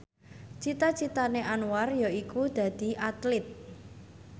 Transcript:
cita citane Anwar yaiku dadi Atlit